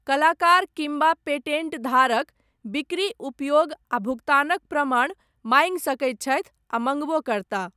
कलाकार किम्बा पेटेण्टधारक, बिक्री, उपयोग आ भुगतानक प्रमाण, माङ्गि सकैत छथि आ मङ्गबो करताह।